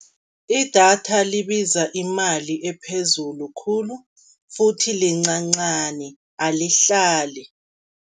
Idatha libiza imali ephezulu khulu futhi lincancani alihlali.